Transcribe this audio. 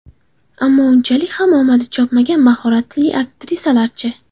Ammo unchalik ham omadi chopmagan mahoratli aktrisalarchi?